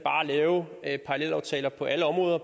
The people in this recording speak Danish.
lave parallelaftaler på alle områder